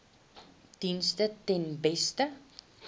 dienste ten beste